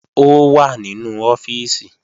Ó wà nínú ọ́fíìsì